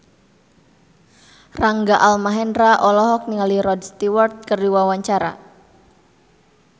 Rangga Almahendra olohok ningali Rod Stewart keur diwawancara